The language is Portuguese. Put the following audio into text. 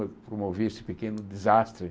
Pro promovia esse pequeno desastre.